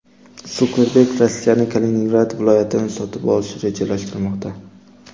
Sukerberg Rossiyaning Kaliningrad viloyatini sotib olishni rejalashtirmoqda.